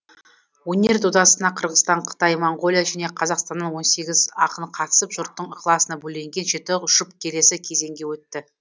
өнер додасына қырғызстан қытай моңғолия және қазақстаннан он сегіз ақын қатысып жұрттың ықыласына бөленген жеті жұп келесі кезеңге өтті